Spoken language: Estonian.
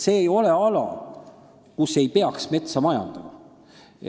See ei ole ala, kus ei tohiks metsa majandada.